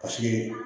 Paseke